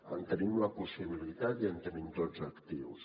en tenim la possibilitat i en tenim tots els actius